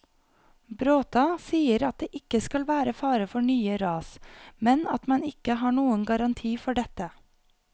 Bråta sier at det ikke skal være fare for nye ras, men at man ikke har noen garanti for dette.